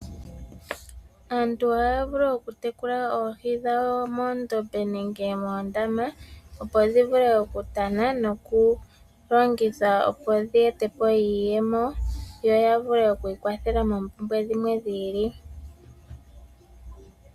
Aantu ohaya vulu okutekula oohi dhawo moondombe nenge moondama opo dhi vule okutana nokulongithwa opo dhi ete po iiyemo dhikwathele aantu mompumbwe dhimwe dhi ili.